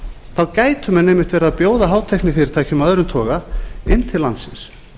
þá gætu menn einmitt verið að bjóða hátæknifyrirtækjum af öðrum toga inn til landsins